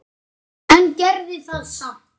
En gerði það samt.